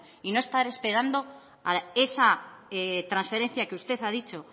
y no estar esperando a esa transferencia que usted ha dicho